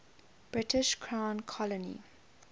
british crown colony